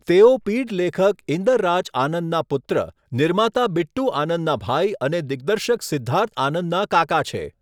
તેઓ પીઢ લેખક ઈન્દર રાજ આનંદના પુત્ર, નિર્માતા બિટ્ટુ આનંદના ભાઈ અને દિગ્દર્શક સિદ્ધાર્થ આનંદના કાકા છે.